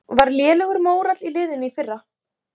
Var lélegur mórall í liðinu í fyrra?